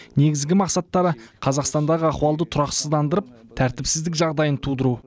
негізгі мақсаттары қазақстандағы ахуалды тұрақсыздандырып тәртіпсіздік жағдайын тудыру